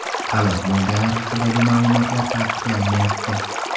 Halok bo‘lganlar haqidagi ma’lumotlar tasdiqlanmayapti.